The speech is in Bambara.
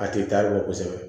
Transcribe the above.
A tɛ taa bɔ kosɛbɛ